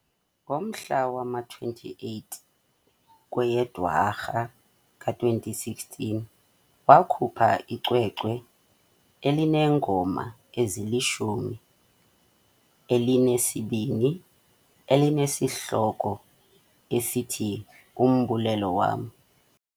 Ngomhla wama-28 kweyeDwarha ka-2016, wakhupha icwecwe elineengoma ezilishumi elinesibini elinesihloko esithi uMbulelo Wam .